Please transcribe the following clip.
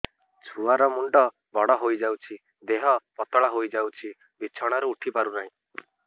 ଛୁଆ ର ମୁଣ୍ଡ ବଡ ହୋଇଯାଉଛି ଦେହ ପତଳା ହୋଇଯାଉଛି ବିଛଣାରୁ ଉଠି ପାରୁନାହିଁ